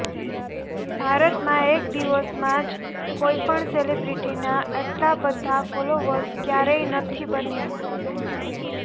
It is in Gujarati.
ભારતમાં એક દિવસમાં જ કોઈ પણ સેલિબ્રિટીનાં આટલા બધા ફોલોવર્સ ક્યારેય નથી બન્યાં